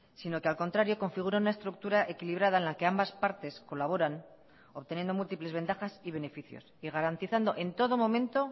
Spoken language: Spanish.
sino que al contrario configura una estructura equilibrada en la que ambas partes colaboran obteniendo múltiples ventajas y beneficios y garantizando en todo momento